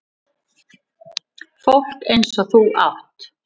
Fólk eins og þú átt